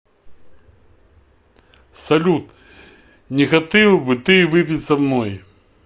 салют не хоты л бы ты выпить со мной